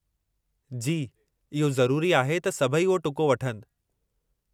जी, इहो ज़रूरी आहे त सभई उहो टुको वठनि।